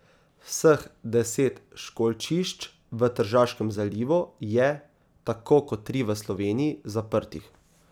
Vseh deset školjčišč v Tržaškem zalivu je, tako kot tri v Sloveniji, zaprtih.